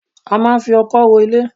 A máa ń fi ọkọ́ ro ilẹ̀